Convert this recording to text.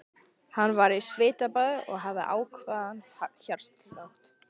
Hann var í svitabaði og hafði ákafan hjartslátt.